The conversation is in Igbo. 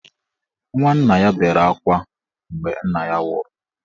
Nwanna ya bere akwa mgbe nna ya nwụrụ.